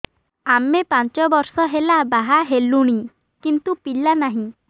ଆମେ ପାଞ୍ଚ ବର୍ଷ ହେଲା ବାହା ହେଲୁଣି କିନ୍ତୁ ପିଲା ନାହିଁ